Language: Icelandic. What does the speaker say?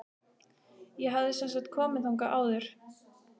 Ég hafði semsagt komið þangað áður.